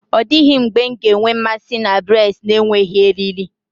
Ọ dịghị mgbe m ga-enwe mmasị na braids na-enweghị eriri.